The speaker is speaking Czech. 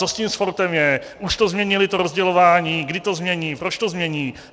Co s tím sportem je, už to změnili to rozdělování, kdy to změní, proč to změní?